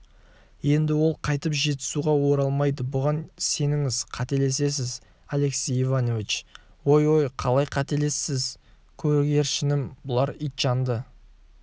енді ол қайтып жетісуға оралмайды бұған сеніңіз қателесесіз алексей иванович ой-ой қалай қателесесіз көгершінім бұлар итжанды